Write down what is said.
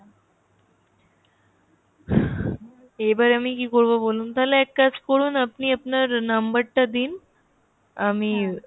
এবার আমি কি করবো বলুন? তাহলে এক কাজ করুন আপনি আপনার number টা দিন, আমি